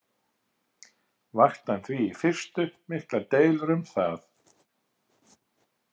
Vakti hann því í fyrstu miklar deilur um það.